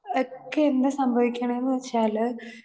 speaker 2 ഒക്കെ എന്താ സംഭവിക്കണേന്ന് വച്ചാല്